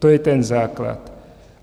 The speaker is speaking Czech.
To je ten základ.